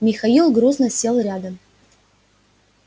михаил грузно сел рядом